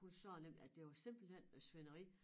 Hun sagde nemlig at det var simpelthen noget svineri